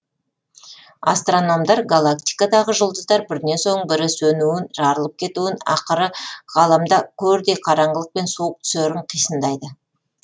астрономдар галактикадағы жұлдыздар бірінен соң бірі сөнуін жарылып кетуін ақыры ғаламда көрдей қараңғылық пен суық түсерін қисындайды